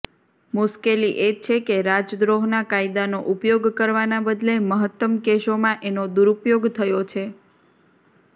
મુશ્કેલી એ છે કે રાજદ્રોહના કાયદાનો ઉપયોગ કરવાના બદલે મહત્તમ કેસોમાં એનો દુરુપયોગ થયો છે